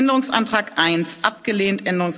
7 angenommen Änderungsantrag